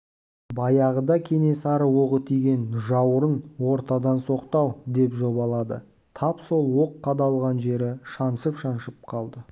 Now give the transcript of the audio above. баяғыда кенесары оғы тиген жауырын ортадан соқты-ау деп жобалады тап сол оқ қадалған жері шаншып-шаншып қалды